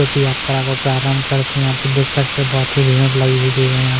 जोकि यात्रा को प्रारंभ करते है यहाँ पे देख सकते है बोहोत ही भीड़ लगी हुई है यहाँ --